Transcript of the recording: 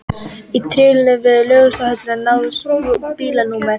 Í tilvikinu við Laugardalshöll náðist bílnúmer